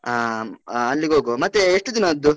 ಆಂ ಆ ಅಲ್ಲಿಗ್ ಹೋಗುವ. ಮತ್ತೇ ಎಷ್ಟ್ ದಿನದ್ದು?